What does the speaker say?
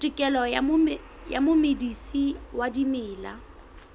tokelo ya momedisi wa dimela